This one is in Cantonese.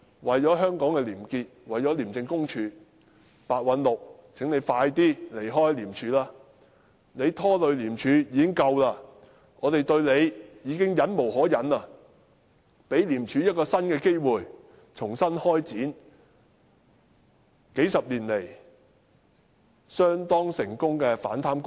為了香港的廉潔和廉署，請白韞六盡早離開廉署，他拖累廉署已拖累得夠了，我們對他已忍無可忍，請給予廉署一個新機會，重新開展數十年來相當成功的反貪工作。